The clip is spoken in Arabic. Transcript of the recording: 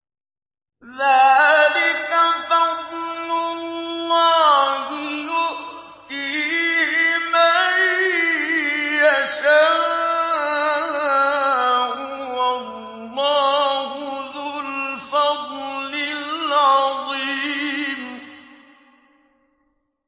ذَٰلِكَ فَضْلُ اللَّهِ يُؤْتِيهِ مَن يَشَاءُ ۚ وَاللَّهُ ذُو الْفَضْلِ الْعَظِيمِ